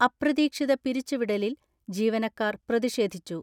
അപ്രതീക്ഷിത പിരിച്ചുവിടലിൽ ജീവനക്കാർ പ്രതിഷേധിച്ചു.